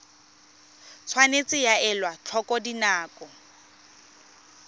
tshwanetse ga elwa tlhoko dinako